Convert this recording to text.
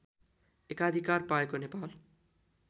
एकाधिकार पाएको नेपाल